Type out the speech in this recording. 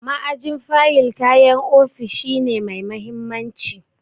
Ma'ajin fayil kayan ofishi ne mai mahimmanci.